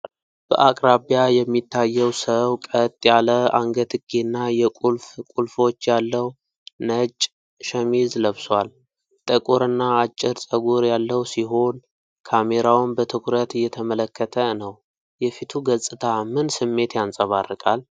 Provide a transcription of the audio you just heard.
\በአቅራቢያ የሚታየው ሰው ቀጥ ያለ አንገትጌና የቁልፍ ቁልፎች ያለው ነጭ ሸሚዝ ለብሷል። ጥቁር እና አጭር ጸጉር ያለው ሲሆን፣ ካሜራውን በትኩረት እየተመለከተ ነው። የፊቱ ገፅታ ምን ስሜት ያንጸባርቃል?